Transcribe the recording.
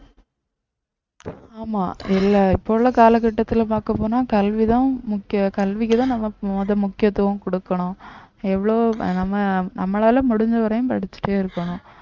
ஆமா இல்லை இப்போ உள்ள கால கட்டத்துல பார்க்கப்போனா கல்விதான் முக்கியம் கல்விக்குதான் நம்ம முத முக்கியத்துவம் கொடுக்கணும் எவ்ளோ நம்ம நம்மளால முடிஞ்ச வரையும் படிச்சுட்டே இருக்கணும்